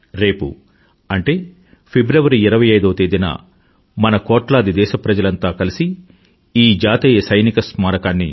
రేపు అంటే ఫిబ్రవరి 25వ తేదీన మన కోట్లాది దేశప్రజలంతా కలిసి ఈ జాతీయ సైనిక స్మారకాన్ని